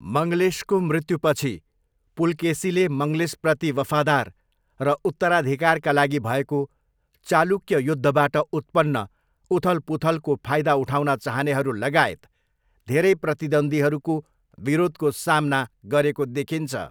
मङ्गलेशको मृत्युपछि, पुलकेसीले मङ्गलेशप्रति वफादार र उत्तराधिकारका लागि भएको चालुक्य युद्धबाट उत्पन्न उथलपुथलको फाइदा उठाउन चाहनेहरू लगायत धेरै प्रतिद्वन्द्वीहरूको विरोधको सामना गरेको देखिन्छ।